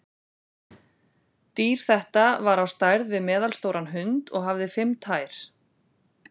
Dýr þetta var á stærð við meðalstóran hund og hafði fimm tær.